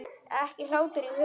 Ekki hlátur í huga.